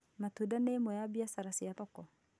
Matuda nĩ ĩmwe ya biacara cia thoko